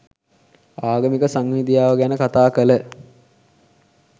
ආගමික සංහිඳියාව ගැන කථා කළ